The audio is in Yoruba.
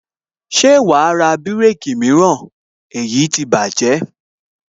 Ṣé wàá ra bireki mìíràn èyí ti bájẹ̀